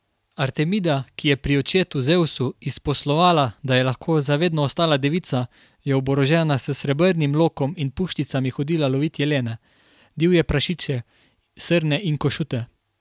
Artemida, ki je pri očetu Zevsu izposlovala, da je lahko za vedno ostala devica, je oborožena s srebrnim lokom in puščicami hodila lovit jelene, divje prašiče, srne in košute.